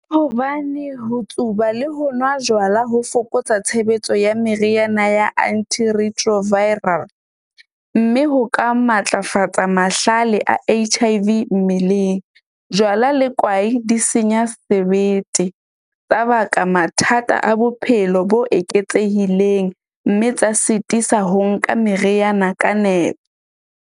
Hobane ho tsuba le ho nwa jwala ho fokotsa tshebetso ya meriana ya antiretroviral. Mme ho ka matlafatsa mahlale a H_I_V mmeleng, jwala le kwai di senya sebete, ka baka mathata a bophelo bo eketsehileng mme tsa sitisa ho nka meriana ka nepo.